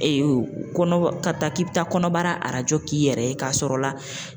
kɔnɔba ka taa k'i bɛ taa kɔnɔbara arajo k'i yɛrɛ ye k'a sɔrɔ la